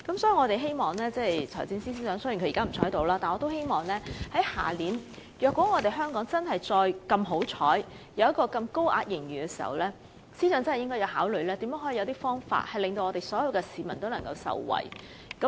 雖然財政司司長現在不在席，但如果香港明年仍然有幸錄得巨額盈餘，我們希望司長真的要考慮有何方法令所有市民也能受惠。